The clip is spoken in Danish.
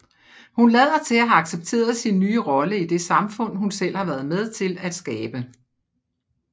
Hun lader til at have accepteret sin nye rolle i det samfund hun selv har været med til skabe